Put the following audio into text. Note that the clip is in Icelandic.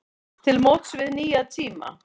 Til móts við nýja tíma